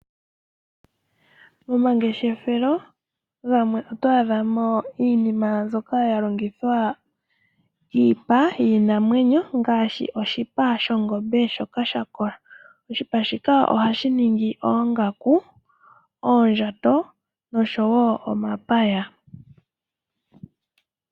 Momangeshefelo gamwe oto adha mo iinima mbyoka ya longithwa yiipa yiinamwenyo, ngaashi oshipa shongombe shoka sha kola. Oshipa shika ohashi ningi oongaku, oondjato noshowo omapaya.